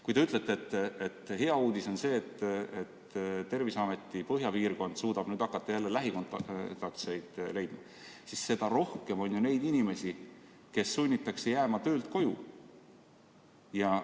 Kui te ütlete, et hea uudis on see, et Terviseameti põhjapiirkond suudab nüüd hakata jälle lähikontaktseid leidma, siis seda rohkem on ju neid inimesi, keda sunnitakse töölt koju jääma.